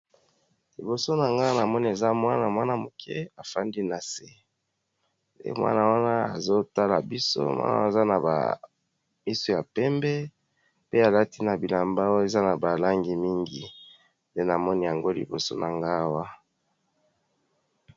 Liboso nangai namoni Mwana muke afandi nase pe Mwana wana azo tala biso aza na miso ya pembe pe na bilamba eza na ba langi mingi nde namoni liboso nangai Awa.